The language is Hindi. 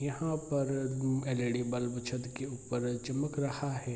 यहां पर एल.ई.डी. बल्ब छत के ऊपर चमक रहा है।